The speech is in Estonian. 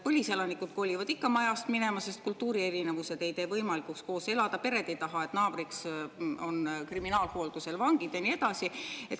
Põliselanikud kolivad ikka majast minema, kui kultuurierinevused ei võimalda koos elada, pered ei taha, et naabriks on kriminaalhooldusel vangid, ja nii edasi.